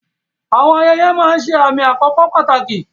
Àwọn ayẹyẹ máa ń ṣe àmì àkókò pàtàkì.